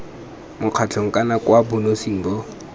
mokgatlhong kana kwa bonosing bo